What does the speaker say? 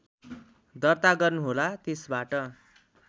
दर्ता गर्नुहोला त्यसबाट